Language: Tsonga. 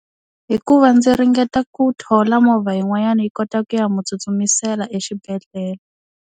Hikuva ndzi ringeta ku thola movha yin'wanyana yi kota ku ya mu tsutsumisela exibedhlele.